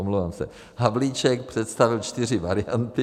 Omlouvám se - Havlíček představil čtyři varianty.